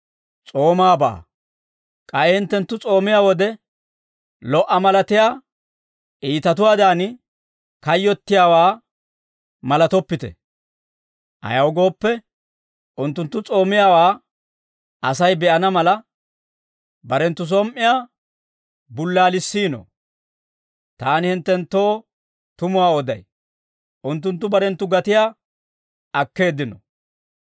«K'ay hinttenttu s'oomiyaa wode, lo"a malatiyaa iitatuwaadan, kayyottiyaawaa malatoppite; ayaw gooppe, unttunttu s'oomiyaawaa Asay be'ana mala, barenttu som"iyaa bullaalissiino; taani hinttenttoo tumuwaa oday; unttunttu barenttu gatiyaa akkeeddino.